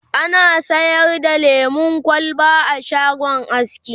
ana sayar da lemun kwalba a shagon askin